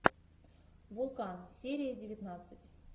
вулкан серия девятнадцать